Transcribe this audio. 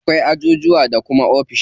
Akwai ajujuwa da kuma ofishi.